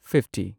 fifty